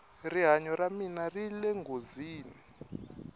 rihanyo ra mina rile nghozini